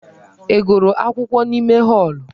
Ị gụrụ akwụkwọ n'ime họọlụ?